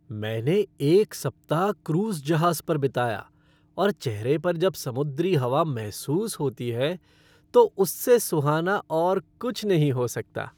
मैंने एक सप्ताह क्रूज जहाज पर बिताया, और चेहरे पर जब समुद्री हवा महसूस होती है तो उससे सुहाना और कुछ नहीं हो सकता।